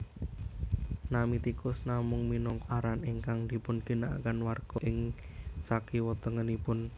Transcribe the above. Nami Tikus namung minangka aran ingkang dipunginakaken warga ing sakiwa tengenipun